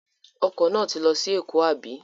Ọkọ̀ náà ti lọ sí Èkó, àbí?